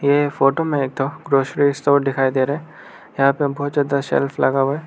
यह फोटो में एक ठो ग्रोसरी स्टोर दिखाई दे रहा है यहां पे बहुत ज्यादा सेल्फ लगा हुआ है।